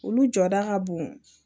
Olu jɔda ka bon